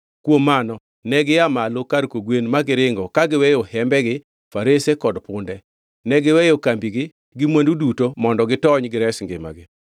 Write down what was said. Kuom mano negia malo kar kogwen ma giringo ka giweyo hembegi, farese kod punde. Negiweyo kambigi gi mwandu duto mondo gitony gires ngimagi.